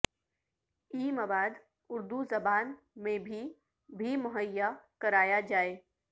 ای مواد اردو زبان میں بھی بھی مہیا کرایا جائے